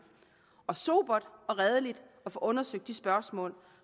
og sobert og redeligt at få undersøgt de spørgsmål